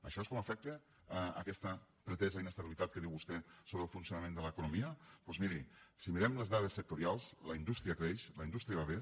això és com afecta aquesta pretesa inestabilitat que diu vostè sobre el funcionament de l’economia doncs miri si mirem les dades sectorials la indústria creix la indústria va bé